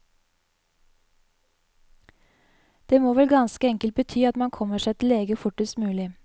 Det må vel ganske enkelt bety at man kommer seg til lege fortest mulig.